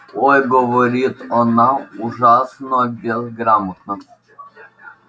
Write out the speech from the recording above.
ой говорит она ужасно безграмотно